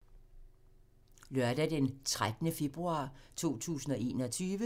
Lørdag d. 13. februar 2021